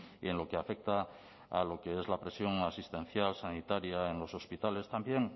y en lo que afecta a lo que es la presión asistencial sanitaria en los hospitales también